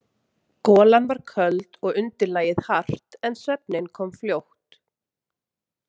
Golan var köld og undirlagið hart en svefninn kom fljótt.